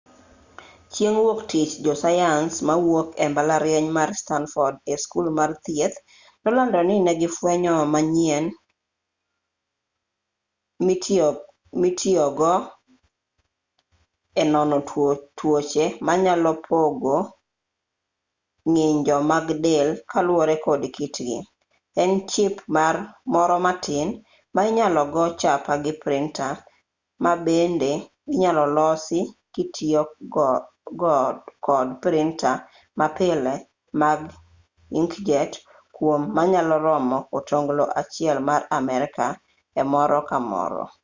chieng' wuoktich josayans mawuok e mbalariany mar stanford e skul mar thieth nolando ni negifwenyo gimanyien mitiyogo e nono tuoche ma nyalo pogo ng'injo mag del kaluwore kod kitgi en chip moro matin ma inyalo go chapa gi printa ma bende inyalo losi kitiyo kod printa mapile mag inkjet kwom manyalo romo otonglo achiel mar amerka e moro ka moro